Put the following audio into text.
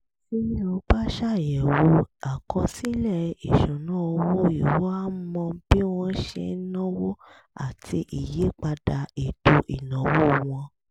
tí o bá ṣàyẹ̀wò àkọsílẹ̀ ìṣúnná owó ìwọ á mọ bí wọ́n ṣe ń náwó àti ìyípadà ètò ìnáwó wọn